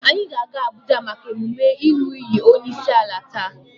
Anyị ga-aga Abuja maka emume ịnụ iyi onyeisiala taa.